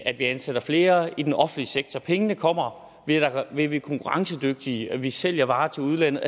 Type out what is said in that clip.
at vi ansætter flere i den offentlige sektor pengene kommer ved at vi er konkurrencedygtige ved at vi sælger varer til udlandet